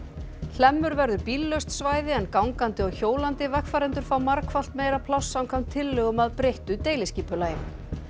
hlemmur verður bíllaust svæði en gangandi og hjólandi vegfarendur fá margfalt meira pláss samkvæmt tillögum að breyttu deiliskipulagi